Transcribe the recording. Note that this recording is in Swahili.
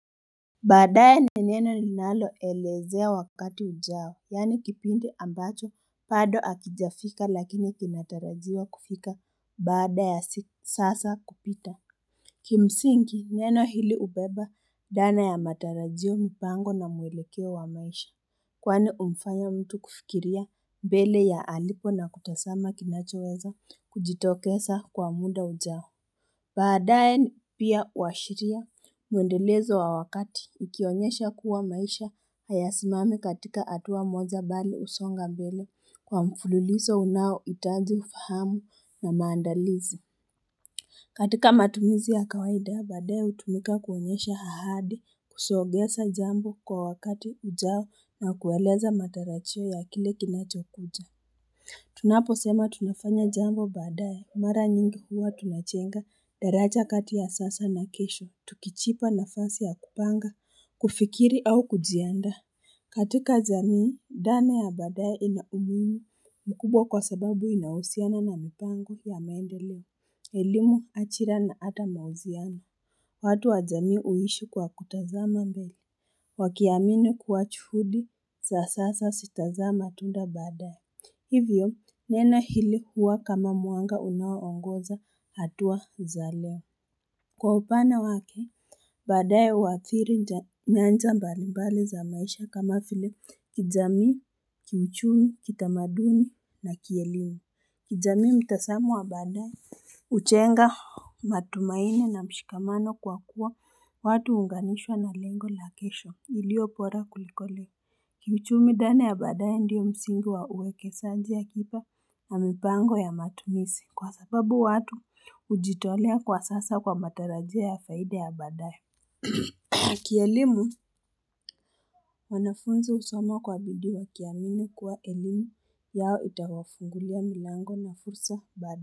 Baadaye ni neno linaloelezea wakati ujao, yaani kipindi ambacho bado hakijafika lakini kinatarajiwa kufika baada ya sasa kupita. Kimsingi neno hili hubeba dhana ya matarajio mipango na mwelekeo wa maisha, kwani humfanya mtu kufikiria mbele ya alipo na kutazama kinachoweza kujitokeza kwa muda ujao. Baadaye pia huwashiria mwendelezo wa wakati ikionyesha kuwa maisha hayasimami katika hatua moja bali husonga mbele kwa mfululizo unaohitaji ufahamu na maandalizi. Katika matumizi ya kawaida, baadaye hutumika kuonyesha ahadi kusongeza jambo kwa wakati ujao na kueleza matarajio ya kile kinachokuja. Tunaposema tunafanya jambo baadaye Mara nyingi huwa tunajenga daraja kati ya sasa na kesho Tukijipa nafasi ya kupanga, kufikiri au kujiandaa katika jamii, dhana ya baadaye inaumuhimu mkubwa kwa sababu inahusiana na mipango ya maendeleo elimu ajira na hata mahusiano watu wa jamii huishi kwa kutazama mbele Wakiamini kuwa juhudi za sasa zitazaa matunda baadaye Hivyo neno hili huwa kama mwanga unaoongoza hatua za leo Kwa upana wake, baadaye huadhiri nyanja mbalimbali za maisha kama vile kijamii, kiuchumi, kitamaduni na kielimu kijamii mtazamo wa baadaye hujenga matumaini na mshikamano kwa kuwa watu huunganishwa na lengo la kesho iliobora kuliko leo Kiuchumi dhana ya baadaye ndiyo msingi wa uwekezaji akiba na mipango ya matumizi kwa sababu watu hujitolea kwa sasa kwa matarajio ya faida ya baadaye. Kielimu wanafunzi husoma kwa bidii wakiamini kuwa elimu yao itawafungulia milango na fursa baadaye.